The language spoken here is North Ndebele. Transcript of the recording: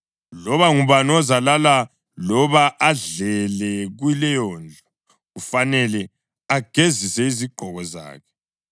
Loba ngubani ozalala loba adlele kuleyondlu kufanele agezise izigqoko zakhe.